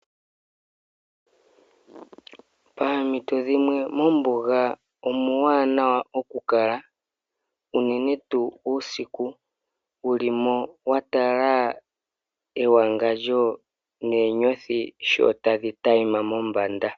Paampito dhimwe mombuga omuuwanawa okukala unene tuu uusiku. Wu li mo wa tala ewangandjo noonyothi sho tadhi tayima mombanda.